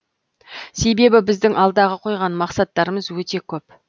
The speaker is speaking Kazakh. себебі біздің алдағы қойған мақсаттарымыз өте көп